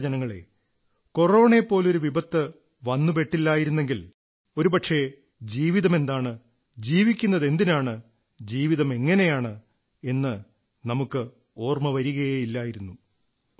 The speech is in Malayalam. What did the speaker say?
പ്രിയപ്പെട്ട ജനങ്ങളേ കൊറോണയെപ്പോലൊരു വിപത്ത് വന്നുപെട്ടില്ലായിരുന്നെങ്കിൽ ഒരുപക്ഷേ ജീവതമെന്താണ് ജീവിക്കുന്നതെന്തിനാണ് ജീവിതമെങ്ങനെയാണ് എന്ന് നമുക്ക് ഒരുപക്ഷേ ഓർമ്മവരുകയേ ഇല്ലായിരുന്നു